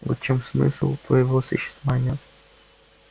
вот в чем смысл твоего существования